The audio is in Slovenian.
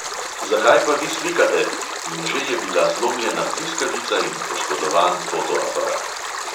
"Zakaj pa vi slikate?" in že je bila zlomljena bliskavica in poškodovan fotoaparat.